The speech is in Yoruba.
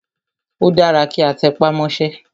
Ó dára kí a tẹpá mọ́sẹ́.